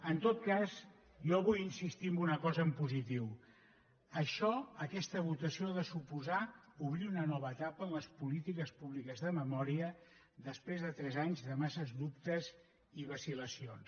en tot cas jo vull insistir en una cosa en positiu això aquesta votació ha de suposar obrir una nova etapa en les polítiques públiques de memòria després de tres anys de massa dubtes i vacil·lacions